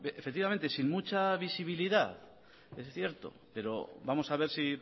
efectivamente sin mucha visibilidad es cierto pero vamos a ver si